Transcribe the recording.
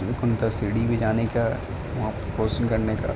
सीढी़ भी लाने का --